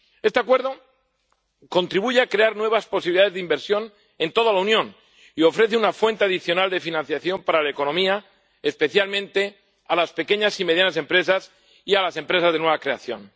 Este acuerdo contribuye a crear nuevas posibilidades de inversión en toda la Unión y ofrece una fuente adicional de financiación para la economía, especialmente a las pequeñas y medianas empresas y a las empresas de nueva creación.